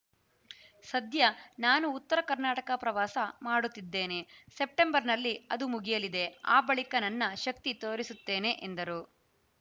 ಸದ್ಯ ನಾನು ಉತ್ತರ ಕರ್ನಾಟಕ ಪ್ರವಾಸ ಮಾಡುತ್ತಿದ್ದೇನೆ ಸೆಪ್ಟೆಂಬರ್‌ನಲ್ಲಿ ಅದು ಮುಗಿಯಲಿದೆ ಆ ಬಳಿಕ ನನ್ನ ಶಕ್ತಿ ತೋರಿಸುತ್ತೇನೆ ಎಂದರು